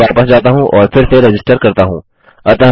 फिर मैं वापस जाता हूँ और फिर से रजिस्टर करता हूँ